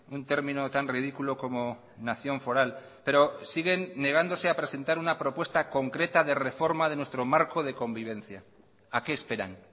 un término tan ridículo como nación foral pero siguen negándose a presentar una propuesta concreta de reforma de nuestro marco de convivencia a que esperan